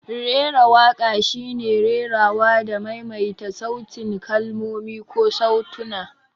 Rera waƙa shine rerawa da maimaita sautin kalmomi ko sautuna.